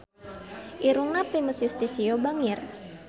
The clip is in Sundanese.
Irungna Primus Yustisio bangir